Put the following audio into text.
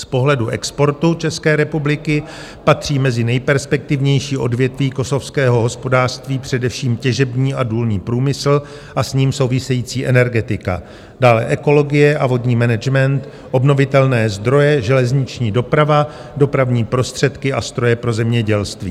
Z pohledu exportu České republiky patří mezi nejperspektivnější odvětví kosovského hospodářství především těžební a důlní průmysl a s ním související energetika, dále ekologie a vodní management, obnovitelné zdroje, železniční doprava, dopravní prostředky a stroje pro zemědělství.